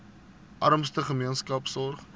armste gemeenskappe sorg